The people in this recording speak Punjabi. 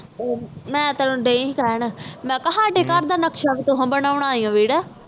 ਮੈਂ ਤਾ ਦੈ ਸੀ ਕਹਿਣ ਸਾਡੇ ਘਰ ਦਾ ਵੀ ਨਕਸ਼ਾ ਤੁਸੀ ਬਣਾਉਣਾ ਵੀਰ